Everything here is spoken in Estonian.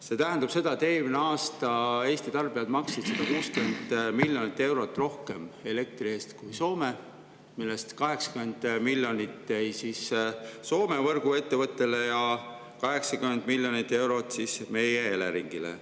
See tähendab seda, et eelmine aasta Eesti tarbijad maksid elektri eest 160 miljonit eurot rohkem, millest 80 miljonit jäi Soome võrguettevõttele ja 80 miljonit eurot meie Eleringile.